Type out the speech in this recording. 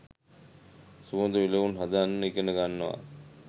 සුවඳ විලවුන් හදන්න ඉගෙන ගන්නවා